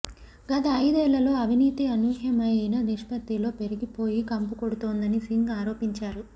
గత అయిదేళ్లలో అవినీతి అనూహ్యమైన నిష్పత్తిలో పెరిగిపోయి కంపు కొడుతోందని సింగ్ ఆరోపించారు